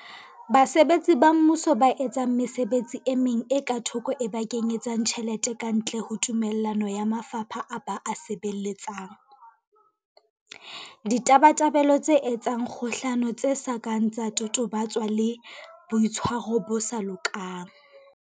Basebetsi ba Mmuso ba etsang mesebetsi e meng e ka thoko e ba kenye tsang tjhelete kantle ho tumello ya mafapha a ba a sebeletsang, Ditabatabelo tse etsang kgohlano tse sa kang tsa totobatswa le, Boitshwaro bo sa lokang.